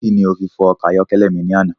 Kíni o fi fọ ọkọ̀ ayọ́kẹ́lẹ́ mi ni àná?